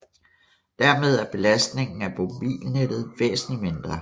Dermed er belastningen af mobilnettet væsentlig mindre